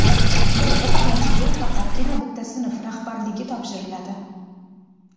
Bir o‘qituvchiga faqatgina bitta sinf rahbarligi topshiriladi.